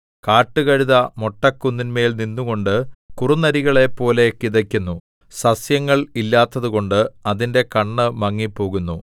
കാട്ടുകഴുത മൊട്ടക്കുന്നിന്മേൽ നിന്നുകൊണ്ട് കുറുനരികളെപ്പോലെ കിതയ്ക്കുന്നു സസ്യങ്ങൾ ഇല്ലാത്തതുകൊണ്ട് അതിന്റെ കണ്ണ് മങ്ങിപ്പോകുന്നു